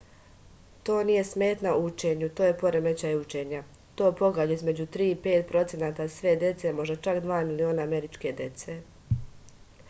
to nije smetnja u učenju to je poremećaj učenja to pogađa između 3 i 5 procenata sve dece možda čak 2 miliona američke dece